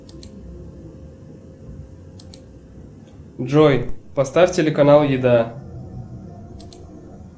джой поставь телеканал еда